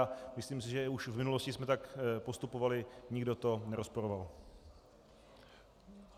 A myslím si, že už v minulosti jsme tak postupovali, nikdo to nerozporoval.